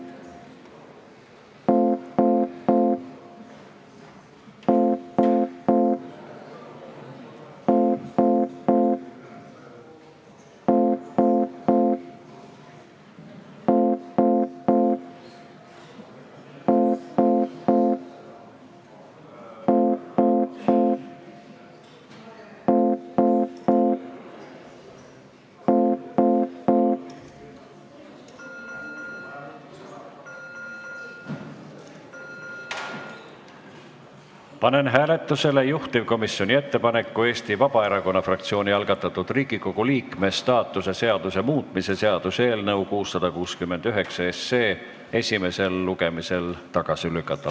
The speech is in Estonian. Panen hääletusele juhtivkomisjoni ettepaneku Eesti Vabaerakonna fraktsiooni algatatud Riigikogu liikme staatuse seaduse muutmise seaduse eelnõu 669 esimesel lugemisel tagasi lükata.